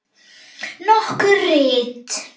Nokkur rit